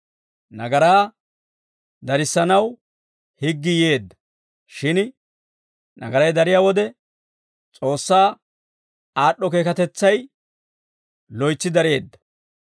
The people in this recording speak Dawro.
Nagaraa darissanaw, higgii yeedda; shin nagaray dariyaa wode S'oossaa aad'd'o keekatetsay loytsi dareedda.